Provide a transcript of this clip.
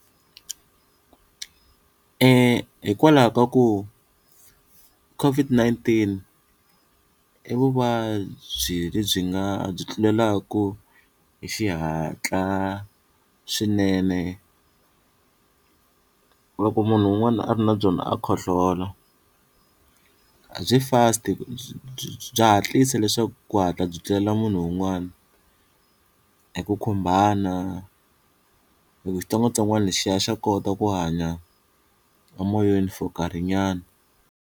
Hikwalaho ka ku COVID-19 i vuvabyi lebyi nga byi tlulelaku hi xihatla swinene loko munhu un'wana a ri na byona a khohlola, byi first bya hatlisa leswaku ku hatla byi tlulela munhu un'wana eku khumbana hi ku xitsongwatsongwana xi ya xa kota ku hanya emoyeni for nkarhinyana.